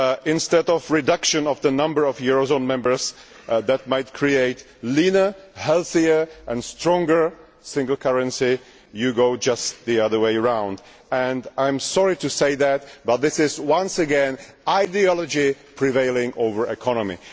Instead of reducing the number of euro zone members that might create a leaner, healthier and stronger single currency, you have gone the other way round. I am sorry to say this but this is once again ideology prevailing over economy.